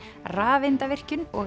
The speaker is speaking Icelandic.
rafeindavirkjun og